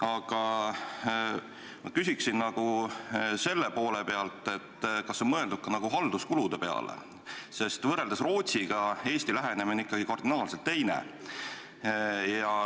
Aga ma küsiksin selle kohta, et kas on mõeldud ka halduskulude peale, sest võrreldes Rootsiga on Eesti lähenemine ikkagi kardinaalselt teine.